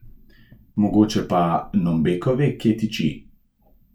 Mogoče pa Nombeko ve, kje tiči?